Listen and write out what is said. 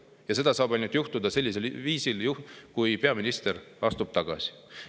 Aga see saab juhtuda ainult sellisel viisil, et peaminister astub tagasi.